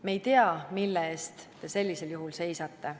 Me ei tea, mille eest te sellisel juhul seisate.